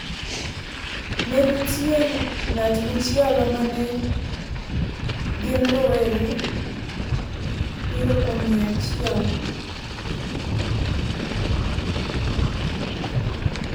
Ne nitie ng�at machielo ma ne gin rowere (abiro kuom mia achiel)